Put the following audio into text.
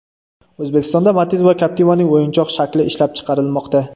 O‘zbekistonda Matiz va Captiva’ning o‘yinchoq shakli ishlab chiqarilmoqda.